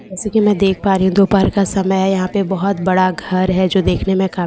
जैसा कि‍ मैं देख पा रही हूँ दोपहर का समय है यहाँ पे बहुत बड़ा घर है जो देखने में काफी --